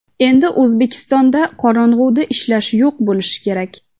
Endi O‘zbekistonda qorong‘uda ishlash yo‘q bo‘lishi kerak.